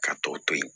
Ka tɔ to yen